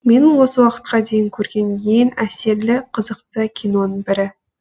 менің осы уақытқа дейін көрген ең әсерлі қызықты киноның бірі